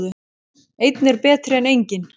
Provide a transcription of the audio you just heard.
Einn er betri en enginn!